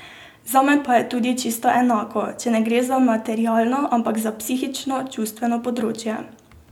Zame pa je tudi čisto enako, če ne gre za materialno, ampak za psihično, čustveno področje.